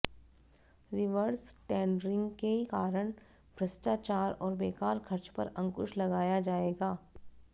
reverse tendering के कारण भ्रष्टाचार और बेकार खर्च पर अंकुश लगाया जाएगा